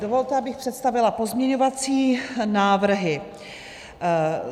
Dovolte, abych představila pozměňovací návrhy.